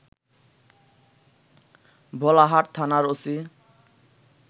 ভোলাহাট থানার ওসি